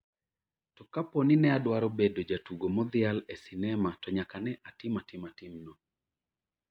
to kapo ni ne adwaro bedo jatugo modhial e sinema to nyaka ne atim atima tim no